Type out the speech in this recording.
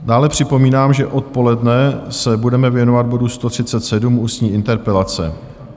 Dále připomínám, že odpoledne se budeme věnovat bodu 137, ústní interpelace.